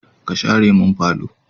Ka share mun falo!